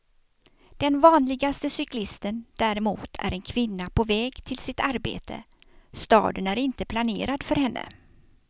Den vanligaste cyklisten däremot är en kvinna på väg till sitt arbete, staden är inte planerad för henne.